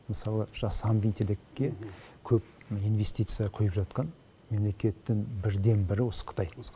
мысалы жасанды интеллектке көп инвестиция құйып жатқан мемлекеттің бірден бірі осы қытай